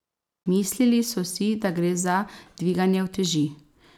Mislili so si, da gre za dviganje uteži ...